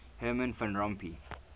herman van rompuy